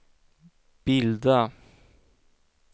bilda